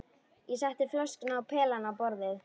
Ég setti flöskuna og pelann á borðið.